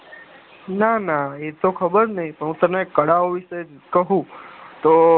નાના એતો ખબર નહી પણ હું તને કળા ઓ વિષે કયું તો